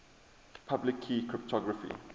public key cryptography